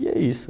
E é isso.